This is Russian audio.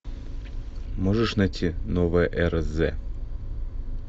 можешь найти новая эра з